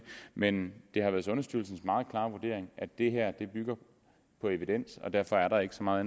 men det har været sundhedsstyrelsens meget klare vurdering at det her er noget der bygger på evidens og derfor er der ikke så meget